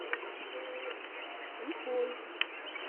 уфой